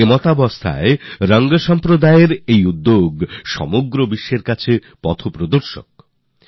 এমতাবস্থায় রং সম্প্রদায়ের এই প্রচেষ্টা গোটা বিশ্বের জন্য পথ প্রদর্শক হতে পারে